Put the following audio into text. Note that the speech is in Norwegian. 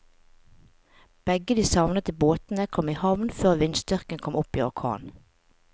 Begge de savnede båtene kom i havn før vindstyrken kom opp i orkan.